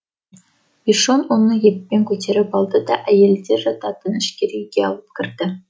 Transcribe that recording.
бишон оны еппен көтеріп алды да әйелдер жататын ішкері үйге алып кірді